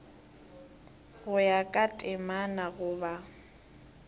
go ya ka temana goba